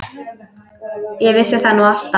Ég vissi það nú alltaf.